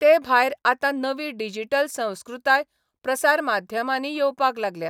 ते भायर आतां नवी डिजिटल संस्कृताय प्रसार माध्यमांनी येवपाक लागल्या.